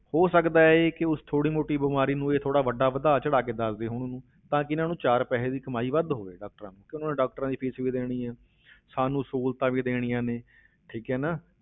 ਹੋ ਸਕਦਾ ਹੈ ਕਿ ਉਸ ਥੋੜ੍ਹੀ ਮੋਟੀ ਬਿਮਾਰੀ ਨੂੰ ਇਹ ਥੋੜ੍ਹਾ ਵੱਡਾ ਵਧਾ ਚੜਾ ਕੇ ਦੱਸਦੇ ਹੋਣ ਉਹਨੂੰ, ਤਾਂ ਕਿ ਇਹਨਾਂ ਨੂੰ ਚਾਰ ਪੈਸੇ ਦੀ ਕਮਾਈ ਵੱਧ ਹੋਵੇ doctors ਨੂੰ ਕਿ ਉਹਨਾਂ ਨੇ doctors ਦੀ fees ਵੀ ਦੇਣੀ ਹੈ ਸਾਨੂੰ ਸਹੂਲਤਾਂ ਵੀ ਦੇਣੀਆਂ ਨੇ ਠੀਕ ਹੈ ਨਾ,